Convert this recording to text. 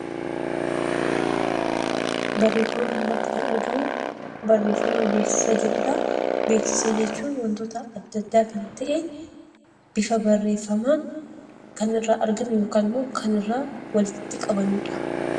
Barreeffama kanarratti kan argamu barreeffama beeksiisa jedhudha. Beeksiisa jechuun wantoota addaa, adda kan ta'e, bifa barreeffaman kan irra arginu yookan immo kan irra walitti qabannudha.